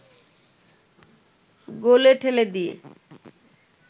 গোলে ঠেলে দিয়ে